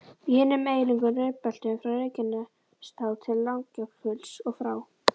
Í hinum eiginlegu rekbeltum, frá Reykjanestá til Langjökuls, og frá